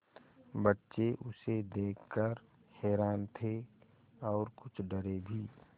बच्चे उसे देख कर हैरान थे और कुछ डरे भी